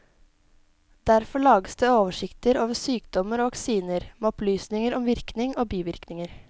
Derfor lages det oversikter over sykdommer og vaksiner, med opplysninger om virkning og bivirkninger.